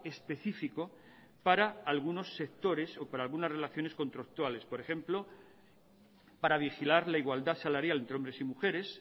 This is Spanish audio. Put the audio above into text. específico para algunos sectores o para algunas relaciones contractuales por ejemplo para vigilar la igualdad salarial entre hombres y mujeres